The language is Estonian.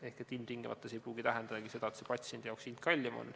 Ehk see ei pruugi ilmtingimata tähendada seda, et hind on patsiendile kallim.